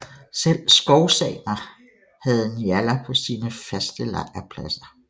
Selv skovsamer havde njallar på sine faste lejrpladser